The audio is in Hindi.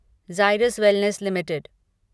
Zydus wellness limited